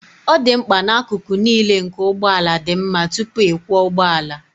ọ dị mkpa na akụkụ niile nke ụgbọ ala dị mma tupu ịkwọ ụgbọ ala